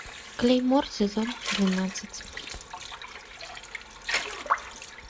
клеймор сезон двенадцать